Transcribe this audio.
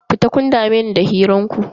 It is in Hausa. Fita, kun dame ni da hirar ku.